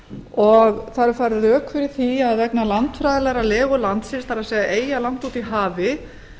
og það eru færð rök fyrir því að vegna landfræðilegrar legu landsins það er eyja langt úti í hafi